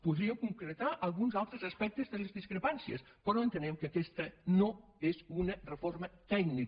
podríem concretar alguns altres aspectes de les discre·pàncies però entenem que aquesta no és una reforma tèc·nica